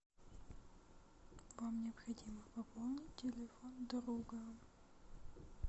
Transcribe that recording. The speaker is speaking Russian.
вам необходимо пополнить телефон друга